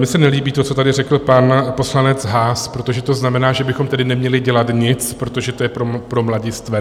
Mně se nelíbí to, co tady řekl pan poslanec Haas, protože to znamená, že bychom tedy neměli dělat nic, protože to je pro mladistvé.